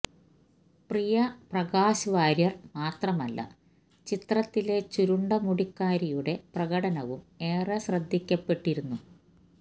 പ്രിയ പ്രകാശ് വാര്യര് മാത്രമല്ല ചിത്രത്തിലെ ചുരുണ്ട മുടിക്കാരിയുടെ പ്രകടനവും ഏറെ ശ്രദ്ധിക്കപ്പെട്ടിരുന്നു